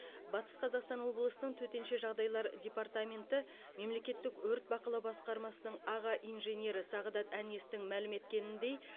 батыс қазақстан облысының төтенше жағдайлар департаменті мемлекеттік өрт бақылау басқармасының аға инженері сағдат әнестің мәлім еткеніндей